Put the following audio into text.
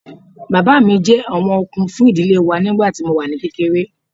Bàbá mi jẹ́ ọ̀wọ̀n okun fún ìdílé wa nígbà tí mo wà ní kékeré